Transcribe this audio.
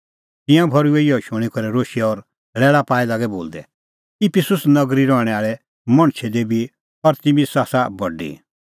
तिंयां भर्हुऐ इहअ शूणीं करै रोशै और लैल़ा पाई लागै बोलदै इफिसुस नगरी रहणैं आल़ै मणछे देबी अरतिमिस आसा बडी